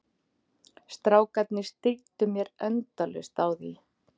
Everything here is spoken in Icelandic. Strákarnir stríddu mér endalaust á því.